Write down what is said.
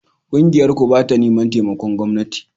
Ƙungiyarku ba ta neman taimakon gwamnati